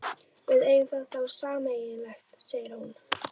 Við eigum það þá sameiginlegt, segir hún.